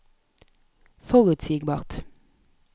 forutsigbart